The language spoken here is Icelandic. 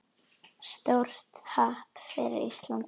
Stórt happ fyrir Ísland